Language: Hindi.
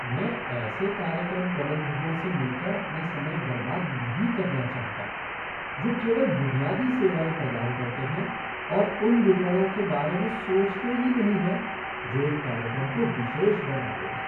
मैं ऐसे कार्यक्रम प्रबंधकों से मिलकर अपना समय बर्बाद नहीं करना चाहता जो केवल बुनियादी सेवाएँ प्रदान करते हैं और उन विवरणों के बारे में सोचते भी नहीं हैं जो एक कार्यक्रम को विशेष बनाते हैं।